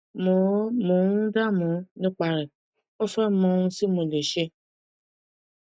mo mo ń dáàmú nípa rẹ mo fẹ mọ ohun tí mo lè ṣe